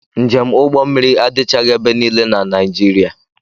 Njé m ụgbọ mmiri adịchaghị ebe niile na Naịjirịa.